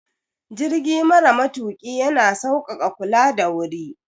Jirgi mara matuƙi ya na sauƙaƙa kula da wuri.